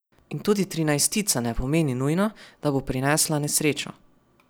In tudi trinajstica ne pomeni nujno, da bo prinesla nesrečo.